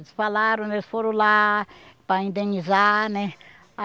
Eles falaram, eles foram lá para indenizar, né?